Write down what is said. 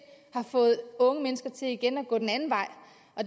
har fået unge mennesker til igen at gå den anden vej